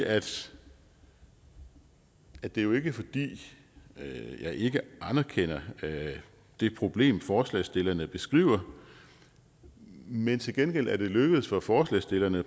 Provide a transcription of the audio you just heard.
at sige at det jo ikke er fordi jeg ikke anerkender det problem som forslagsstillerne beskriver men til gengæld er det lykkedes for forslagsstillerne